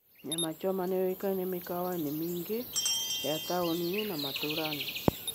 Nyama choma nĩ yoĩkaine mĩkawa-inĩ mĩingĩ ya taũni-inĩ na matũũra-inĩ.